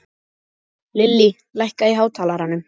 Lillý, lækkaðu í hátalaranum.